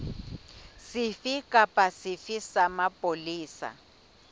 sefe kapa sefe sa mapolesa